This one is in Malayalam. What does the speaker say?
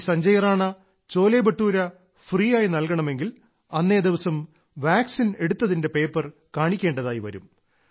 ശ്രീ സഞ്ജയ് റാണ ചോലെബട്ടൂര ഫ്രീയായി നൽകണമെങ്കിൽ അന്നേദിവസം വാക്സിൻ എടുത്തതിന്റെ പേപ്പർ കാണിക്കേണ്ടതായി വരും